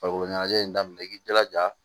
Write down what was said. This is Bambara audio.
Farikolo ɲɛnajɛ in daminɛ i k'i jilaja